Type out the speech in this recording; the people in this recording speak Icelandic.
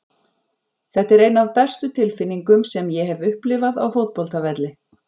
Þetta er ein af bestu tilfinningum sem ég hef upplifað á fótboltavelli.